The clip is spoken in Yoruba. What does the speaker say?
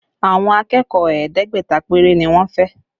Àwọn akẹ́kọ̀ọ́ ẹ̀ẹ́dẹ́gbẹ̀ta péré ni wọ́n fẹ́